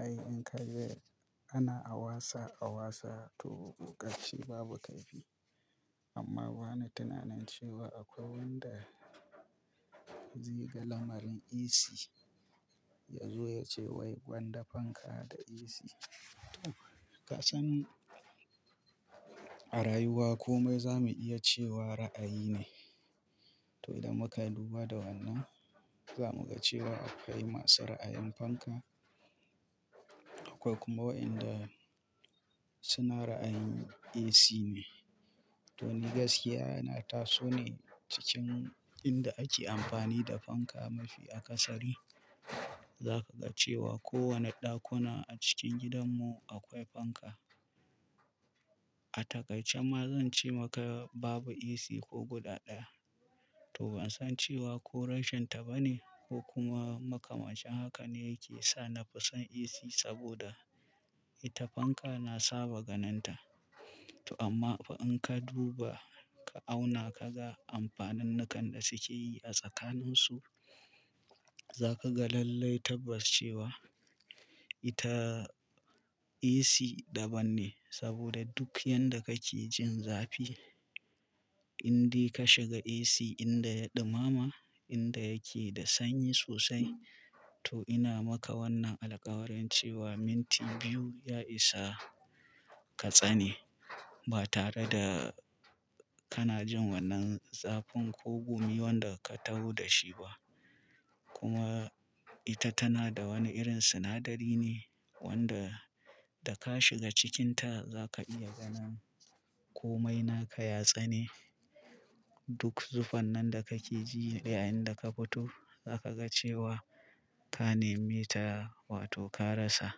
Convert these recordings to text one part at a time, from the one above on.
Ai in ka je ana wasa a wasa to ƙarshe babu kaifi amma bani tunanin cewa akwai wanda zai ga lamarin AC yazo yace wai gwanda fanka da AC. To kasan a rayuwa komai zamu iya cewa ra'ayi ne. To idan muka duba da wannan, za mu ga cewa akwai masu ra'ayin fanka akwai kuma waɗanda suna ra'ayin AC ne. To ni gaskiya yana taso ne cikin inda ake amfani da fanka mafi a ƙasari. Zaka ga cewa kowane ɗakuna a cikin gidanmu akwai fanka. A takaice ma zan ce maka babu AC ko guda ɗaya. To ban san cewa ko rashin ta bane ko kuma makamashin haka ne yake sa na fi son AC saboda ita fanka na saba ganin ta. To amma fa in ka duba ka auna kaga amfanin nakan da suke yi a tsakanin su, za ka ga lallai tabbas cewa ita AC daban ne saboda duk yanda kake jin zafi, in dai ka shiga AC inda ya ɗumama, inda yake da sanyi sosai to ina maka wannan alƙawarin cewa minti biyu ya isa ka tsane ba tare da kana jin wannan zafin ko gumi wanda ka taho da shi ba. Kuma ita tana da wani irin sinadari ne wanda da ka shiga cikinta za ka iya ganin komai naka ya tsane. Duk zuffan nan da ka ke ji a yayin da ka fito, za ka ga cewa ka nemi ta wato ka rasa.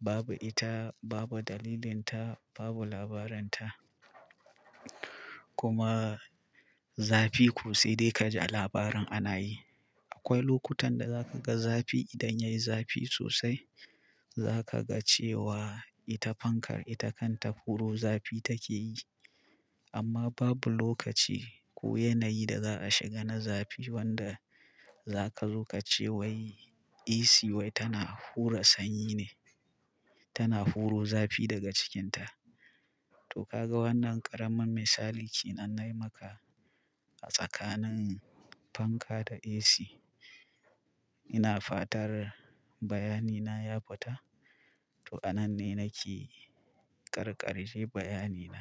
Babu ita, babu dalilin ta, babu labarin ta. Kuma zafi ko sai dai kaji a labarin ana yi. Akwai lokutan da za ka ga zafi idan yayi zafi sosai. Za ka ga cewa ita fankar ita kanta huro zafi take yi. Amma babu lokaci ko yanayi da za a shiga na zafi wanda zaka zo ka ce wai AC wai tana hura sanyi ne, tana huro zafi daga cikinta. To ka ga wannan ƙaramin misali ke nan na yi maka a tsakanin fanka da AC. Ina fatar bayani na ya fita. To a nan ne nake karkare bayani na.